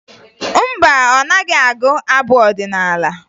Mba, ọ naghị agụ abụ ọdịnaala